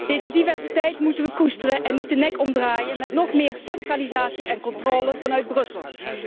Deze diversiteit moeten wij koesteren en niet de nek omdraaien met nog meer centralisatie en controle vanuit Brussel.